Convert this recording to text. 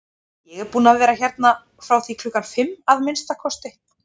Ég er búinn að vera hérna frá því klukkan fimm, að minnsta kosti